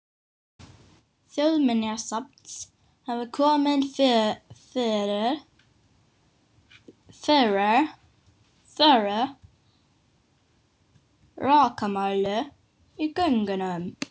Starfsmenn Þjóðminjasafns hafa komið fyrir rakamæli í göngunum.